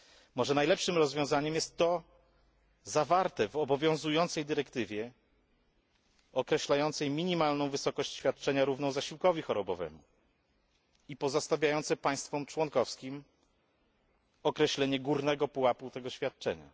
Może najlepszym rozwiązaniem jest to zawarte w obowiązującej dyrektywie określającej minimalną wysokość świadczenia równą zasiłkowi chorobowemu i pozostawiające państwom członkowskim określenie górnego pułapu tego świadczenia?